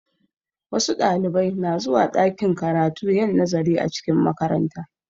Wasu Ɗalibai na zuwa ɗakin karatu yin nazari a cikin makaranta